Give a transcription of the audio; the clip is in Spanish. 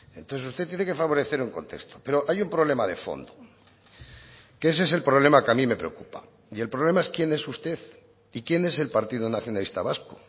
entonces usted tiene que favorecer un contexto pero hay un problema de fondo que ese es el problema que a mí me preocupa y el problema es quién es usted y quién es el partido nacionalista vasco